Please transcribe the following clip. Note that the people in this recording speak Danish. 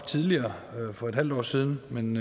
tidligere for et halvt år siden men